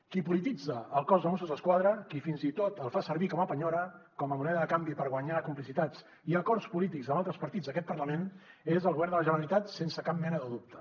qui polititza el cos de mossos d’esquadra qui fins i tot el fa servir com a penyora com a moneda de canvi per guanyar complicitats i acords polítics amb altres partits d’aquest parlament és el govern de la generalitat sense cap mena de dubte